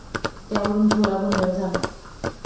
त्यावरुन थोडा गोंधळ झाला.